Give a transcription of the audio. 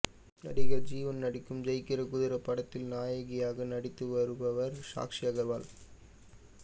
நடிகர் ஜீவன் நடிக்கும் ஜெயிக்கிறகுதிரை படத்தில் நாயகியாக நடித்து வருபவர் சாக்ஷி அகர்வால்